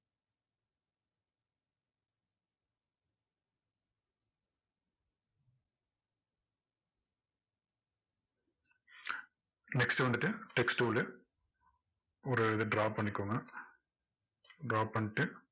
next வந்துட்டு text tool உ ஒரு இதை draw பண்ணிக்கோங்க draw பண்ணிட்டு